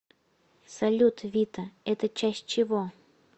салют вита это часть чего